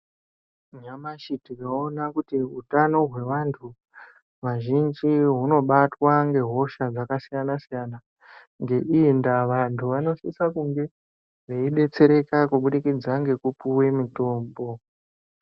Nyamashi tinoona kuti utano hweantu azvhinji, hunobatwa ngehosha dzakasiyana-siyana. Ngeiyi ndaa, vantu vanosisa kunge veidetsereka kubudikidza ngekupuwe mitombo.